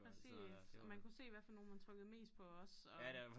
Præcis og man kunne se hvad for nogle man trykkede mest på også og